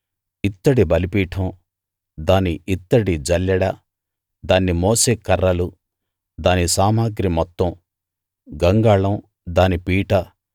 ఇత్తడి బలిపీఠం దాని ఇత్తడి జల్లెడ దాన్ని మోసే కర్రలు దాని సామగ్రి మొత్తం గంగాళం దాని పీట